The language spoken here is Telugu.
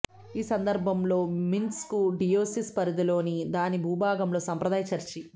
ఈ సందర్భంలో మిన్స్క్ డియోసెస్ పరిధిలోని దాని భూభాగంలో సంప్రదాయ చర్చి